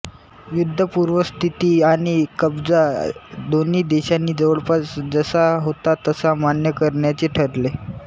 युद्धपूर्व स्थिती आणि कब्जा दोन्ही देशांनी जवळपास जशा होता तसा मान्य करण्याचे ठरले